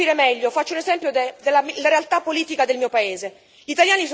Per farmi capire meglio, faccio l'esempio della realtà politica del mio paese.